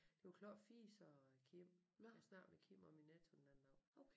Det er jo klart Fies og Kim jeg snakkede med Kim om i Netto den anden dag